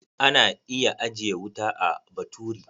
Ana iya ajiye wuta a baturi.